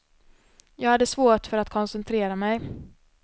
Jag hade svårt för att koncentrera mig.